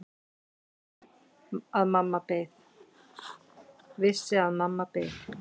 Vissi að mamma beið.